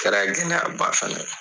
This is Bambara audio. Kɛra gɛlɛya ba fana ye.